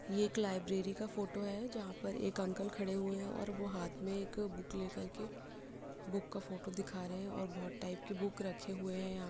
ये एक लाइब्रेरी का फ़ोटो है जहां पर एक अंकल खड़े हुए हैं और वो हाथ में एक बुक लेकर के बुक का फ़ोटो दिखा रहे हैं और बोहोत टाइप के बुक रखे हुए है यहाँ --